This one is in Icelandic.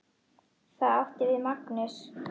Það átti við Magnús.